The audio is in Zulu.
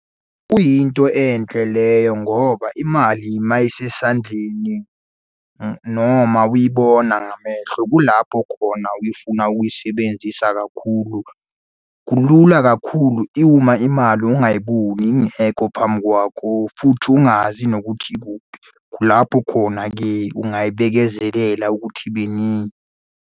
Kuyinto enhle leyo ngoba imali uma isesandleni noma uyibona ngamehlo, kulapho khona uyifuna ukuyisebenzisa kakhulu. Kulula kakhulu uma imali ungayiboni, ingekho phambi kwakho, futhi ungazi nokuthi ikuphi. Lapho khona-ke ungayibekezelela ukuthi ibe ningi.